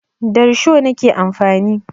Da risho nake amfani.